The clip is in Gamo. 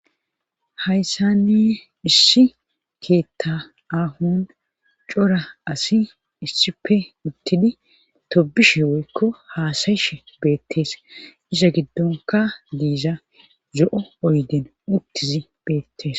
hayssani issi keetta ahon cora asi issipe uttidi tobishe woykko haasayishe beettees isa giddonka diiza zo'o oyden uttizi beettees